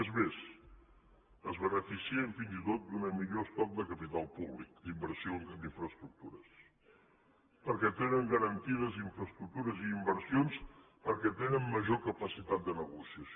és més es beneficien fins i tot d’un millor estoc de capital públic d’inversió en infraestructures perquè tenen garantides infraestructures i inversions perquè tenen major capacitat de negociació